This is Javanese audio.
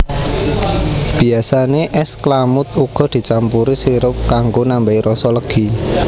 Biyasane es klamud uga dicampuri sirup kanggo nambahai rasa legi